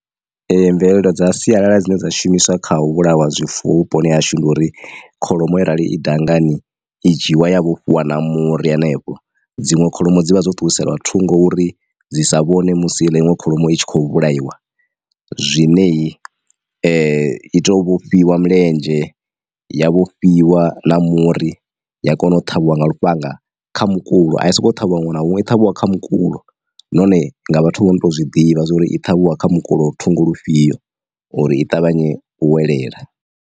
Ee mvelelo dza sialala dzine dza shumiswa kha u vhulaiwa zwifuwo vhuponi ha hashu ndi uri kholomo yo rali i dangani i dzhiiwa ya vhofhiwa na muri hanefho. Dziṅwe kholomo dzi vha dzo ṱuwisela thungo uri dzi sa vhone musi heiḽa iṅwe kholomo i tshi khou vhulaiwa zwineyi i to vhofhiwa mulenzhe ya vhofhiwa na muri ya kona u ṱhavhiwa nga lufhanga kha mukulo a i soko ṱhavhiwa ṅwana huṅwe i ṱhavhiwa kha mukulo nahone nga vhathu vho no tou zwi ḓivha zwa uri i ṱhavhiwa kha mukulo thungo lufhio uri i ṱavhanye u welela.